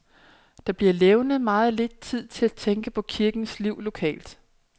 Der bliver levnet meget lidt tid til at tænke på kirkens liv lokalt.